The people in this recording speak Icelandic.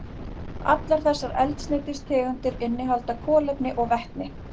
Allar þessar eldsneytistegundir innihalda kolefni og vetni.